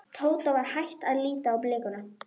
Tóta var hætt að lítast á blikuna.